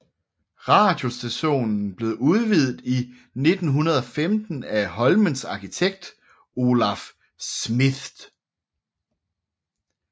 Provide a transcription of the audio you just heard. Radiostationen blev udvidet i 1915 af Holmens arkitekt Olaf Schmidth